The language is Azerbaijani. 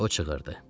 O qışqırdı.